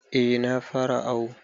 Eh na fara awu.